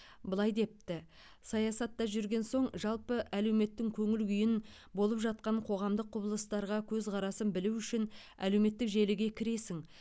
былай депті саясатта жүрген соң жалпы әлеуметтің көңіл күйін болып жатқан қоғамдық құбылыстарға көзқарасын білу үшін әлеуметтік желіге кіресің